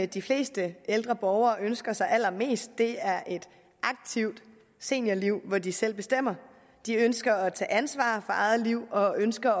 de fleste ældre borgere ønsker sig allermest er et aktivt seniorliv hvor de selv bestemmer de ønsker at tage ansvar for eget liv og ønsker